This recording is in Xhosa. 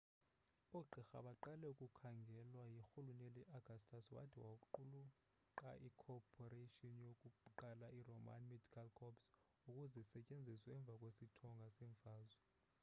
oogqirha baqala ukukhangelwa yirhuluneli augustus wade waqulunqa ikhophoration yokuqala yeroman medical corps ukuze isetyenziswe emva kwesithonga seemfazwe